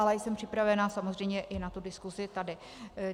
Ale jsem připravená samozřejmě i na tu diskusi tady.